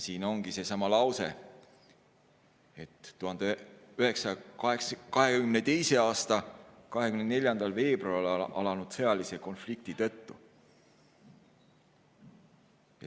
Siin ongi seesama: "2022. aasta 24. veebruaril alanud sõjalise konflikti tõttu ...